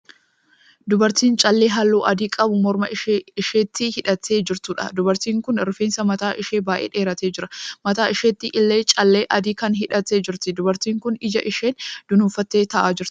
Dubartii callee halluu adii qabu morma isheetti hidhattee jirtuudha. Dubartiin kun rifeensi mataa ishee baay'ee dheeratee jira. Mataa isheetti illee callee adii kana hidhattee jirti. Dubartiin kun ija isheen dunuunfattee ta'aa jirti.